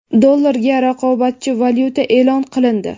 Dollarga raqobatchi valyuta e’lon qilindi.